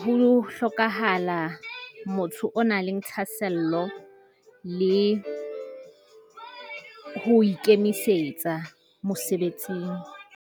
ho hlokahala motho o nang le thahasello le ho ikemisetsa mosebetsing.